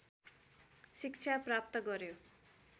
शिक्षा प्राप्त गर्‍यो